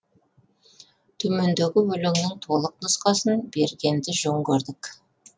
төмендегі өлеңнің толық нұсқасын бергенді жөн көрдік